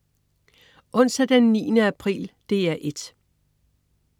Onsdag den 9. april - DR 1: